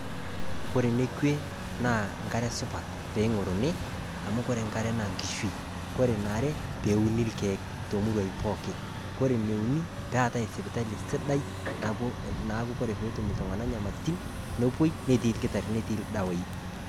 Kore nekwe naa nkare supat peeing'oruni, amu kore nkare naa nkishui. Koree neare peuni ilkeek tomuruai pooki. Kore neuni peetai sipitali sidai naapuoi naaku kore peetum ltung'ana nyamalitin nepuoi netii ilkitarrini netii ildawai